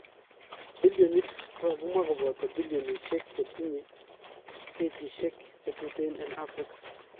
Bilionit ko kakimwa kopata bilionishek chetinye gechisiek chetuten en afrika